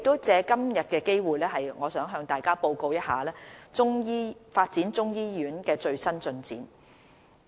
藉今天的機會，我想向大家報告發展中醫醫院的最新進展。